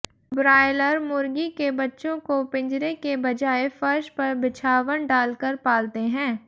broiler मुर्गी के बच्चों को पिंजरे के बजाय फर्श पर बिछावन डालकर पालते हैं